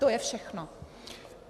To je všechno.